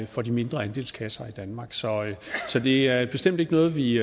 for de mindre andelskasser i danmark så det er bestemt ikke noget vi